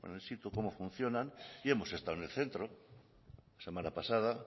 el sitio cómo funcionan y hemos estado en el centro la semana pasada